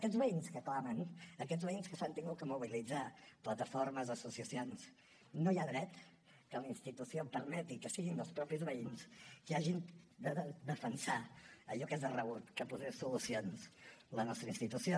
aquests veïns que clamen aquests veïns que s’han hagut de mobilitzar plataformes associacions no hi ha dret que la institució permeti que siguin els mateixos veïns qui hagin de defensar allò que és de rebut que posés solucions la nostra institució